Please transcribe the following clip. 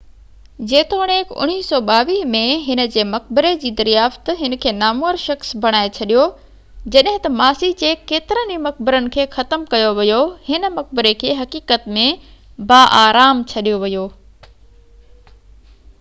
جيتوڻيڪ 1922 ۾ هن جي مقبري جي دريافت هن کي نامور شخص بڻائي ڇڏيو جڏهن ته ماضي جي ڪيترن ئي مقبرن کي ختم ڪيو ويو هن مقبري کي حقيقت ۾ باآرام ڇڏيو ويو